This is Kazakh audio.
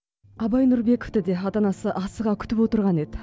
абай нұрбековті де ата анасы асыға күтіп отырған еді